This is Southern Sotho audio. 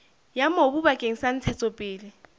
ya mobu bakeng sa ntshetsopele